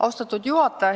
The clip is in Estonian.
Austatud juhataja!